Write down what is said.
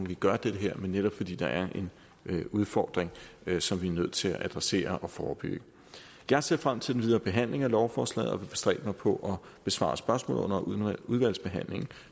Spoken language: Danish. vi gør det her men netop fordi der er en udfordring som vi er nødt til at adressere og forebygge jeg ser frem til den videre behandling af lovforslaget og vil bestræbe mig på at besvare spørgsmål under udvalgsbehandlingen